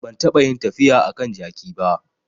Ban taɓa yin tafiya a kan jaki ba